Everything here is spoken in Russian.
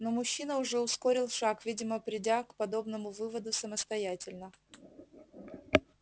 но мужчина уже ускорил шаг видимо придя к подобному выводу самостоятельно